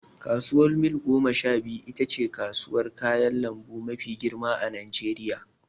Kasuwar mil gomasha biyu itace kasuwar kayan lambu mafi girma a najeriya